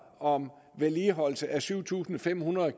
om vedligeholdelse af syv tusind fem hundrede